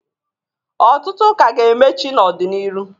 Ọtụtụ k' a ga-emechi n'ọdị n'iru.